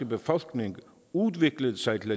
befolkning udviklede sig til